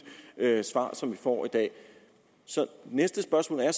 svar som vi får i dag så næste spørgsmål er